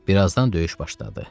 Bir azdan döyüş başladı.